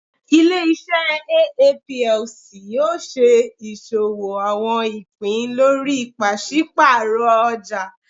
Ile-iṣẹ Aa Plc yoo ṣe iṣowo àwọn ìpín lórí paṣipaarọ ọjà.